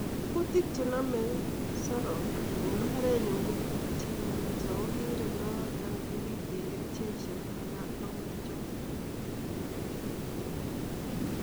Kuutik chenome saroch en mbarenyu ko kuutik che lelach ako kikirindoi yon kakipiten kerichek chenomekei ak kuutichotet.